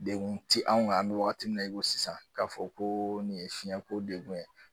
Degun tɛ anw kan an bɛ wagati min na i ko sisan k'a fɔ ko nin ye fiyɛnko degun ye.